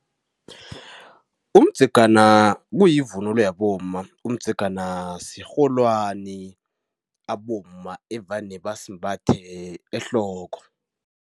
Umdzegana kuyivunulo yabomma. Umdzegana sirholwani abomma evane basimbathe ehloko.